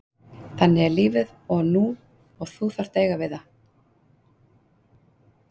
Þannig er lífið og þú þarft að eiga við það,